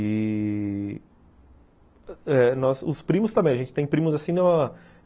E... eh... os primos também. A gente tem primos assim